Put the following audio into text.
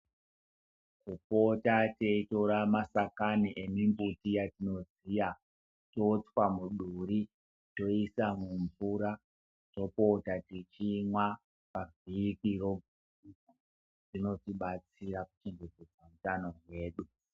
Kupota teitora masakani emumbuti yatoziya totswa muduri toisa mumvura topota techimwa pavhiki roga roga zvinotibatsiara kuchetedza utano hwedu